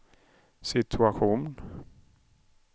situation